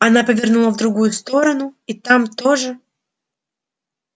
она повернула в другую сторону и там тоже